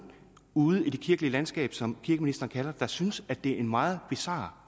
ude i det kirkelige landskab som kirkeministeren kalder det der synes at det er en meget bizar